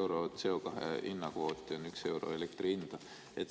euro CO2 hinna kvooti on üks euro elektri hinda.